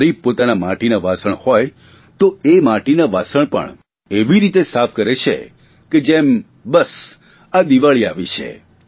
ગરીબ પોતાના માટીના વાસણ હોય તે એ માટીના વાસણ પણ એવી રીતે સાફ કરે છે કે જેમ બસ આ દિવાળી આવી છે